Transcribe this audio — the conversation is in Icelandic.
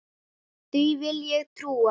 Því vil ég trúa!